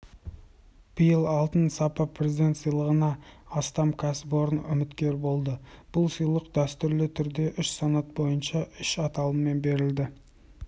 биыл алтын сапа президент сыйлығына астам кәсіпорын үміткер болды бұл сыйлық дәстүрлі түрде үш санат бойынша үш аталыммен беріледі